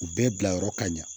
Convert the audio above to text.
U bɛɛ bilayɔrɔ ka ɲa